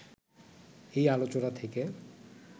এই আলোচনা থেকে